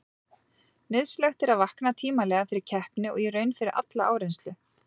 Nauðsynlegt er að vakna tímanlega fyrir keppni og í raun fyrir alla áreynslu.